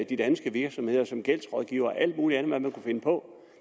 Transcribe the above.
i danske virksomheder som gældsrådgiver og alt muligt andet man kan finde på